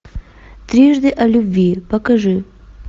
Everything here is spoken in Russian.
трижды о любви покажи